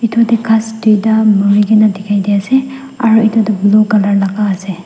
ghas duida murikena dekhai de ase aro etu tuh blue colour laga ase.